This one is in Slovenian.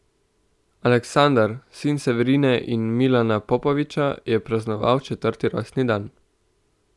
Aleksandar, sin Severine in Milana Popovića je praznoval četrti rojstni dan.